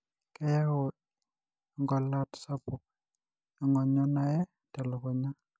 keyau engolat sapuk ongonyo naye telukunya